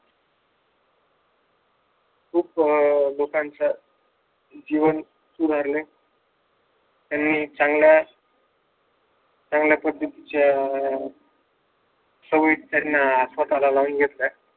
खूप लोकांच्या जीवन सुधारले त्यांनी चांगल्या चांगल्या पद्धतीच्या सवयी त्यांना स्वतःला लावून घेतल्या